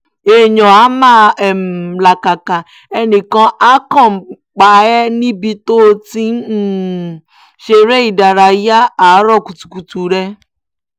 èèyàn áà máa um làkàkà ẹnì kan àá kan pa ẹ́ níbi tó o ti ń um ṣeré ìdárayá àárọ̀ kùtùkùtù rẹ